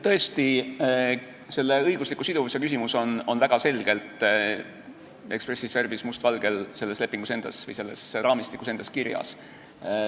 Tõesti, õigusliku siduvuse küsimus on väga selgelt, expressis verbis, must valgel selles lepingus või selles raamistikus endas kirjas.